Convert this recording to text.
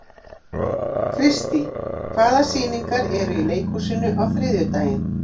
Kristý, hvaða sýningar eru í leikhúsinu á þriðjudaginn?